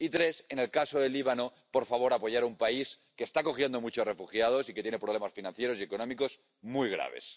y tres, en el caso del Líbano, por favor, apoyar a un país que está acogiendo a muchos refugiados, y que tiene problemas financieros y económicos muy graves.